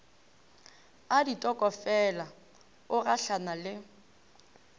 a ditokofela o gahlana le